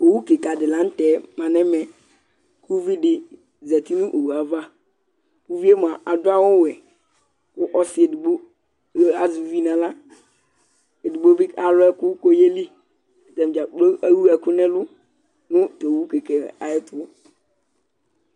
Owu kɩka dɩ la nʋ tɛ ma nɛmɛ Kuvi di zati nowue ava; uvie mʋ adʋ awʋ wɛKʋ ɔsɩ edigbo azɛ uvi naɣla, edigbo bɩ alʋ ɛkʋ koyeliAtadza kplo ewu ɛkʋ nɛlʋ nʋ towu kɩkɛ ayɛtʋ